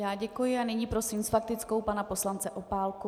Já děkuji a nyní prosím s faktickou pana poslance Opálku.